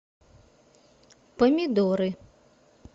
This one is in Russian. помидоры